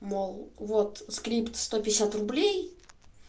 мол вот скрипт сто пятьдесят рублей